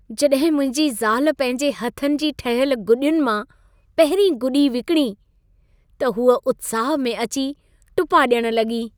जॾहिं मुंहिंजी ज़ाल पंहिंजे हथनि जी ठहियल गुॾियुनि मां पहिरीं गुॾी विकणी, त हूअ उत्साह में अची टुपा ॾियण लॻी।